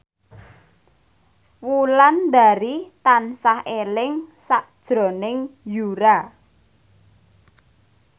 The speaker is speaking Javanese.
Wulandari tansah eling sakjroning Yura